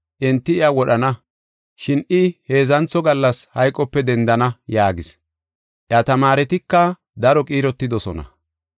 Enti iya wodhana, shin I heedzantho gallas hayqope dendana” yaagis. Iya tamaaretika daro qiirotidosona.